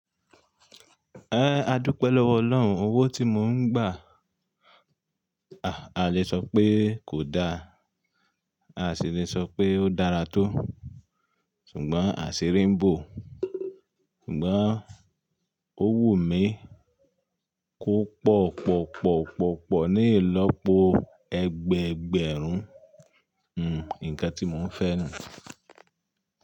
Adúpẹ́ lọ́wọ́ Ọlọ́run. Owó tí mò ń gbà, a lè sọ pé kò da, a sì lè sọ pé ó dára tó, ṣùgbọ́n a sì rí ń bò. Ṣùgbọ́n, owó mi kò pọ̀ pọ̀ pọ̀ pọ̀ pọ̀ ní ì lọ́pọ̀ ẹgbẹ̀ẹgbẹ̀rún. Nǹkan tí mò ń fẹ́ nù.